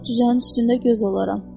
Tovuz düzünün üstündə göz olaram.